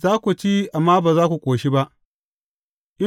Za ku ci amma ba za ku ƙoshi ba.